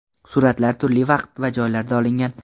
Suratlar turli vaqt va joylarda olingan.